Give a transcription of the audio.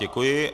Děkuji.